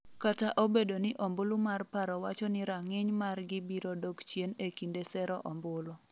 kata obedo ni ombulu mar paro wacho ni rang'iny mar gi biro dok chien e kinde sero ombulu